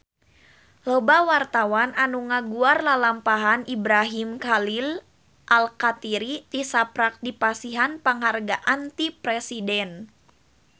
Loba wartawan anu ngaguar lalampahan Ibrahim Khalil Alkatiri tisaprak dipasihan panghargaan ti Presiden